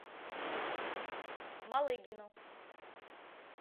малыгину